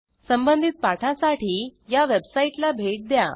संबंधित पाठासाठी httpspoken tutorialorg या वेबसाईटला भेट द्या